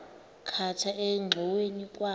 khatha engxoweni kwa